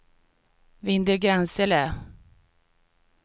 Vindelgransele